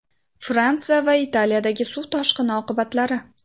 Fransiya va Italiyadagi suv toshqini oqibatlari .